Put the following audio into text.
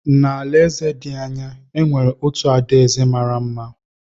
N’alaeze dị anya, e nwere otu adaeze mara mma bi.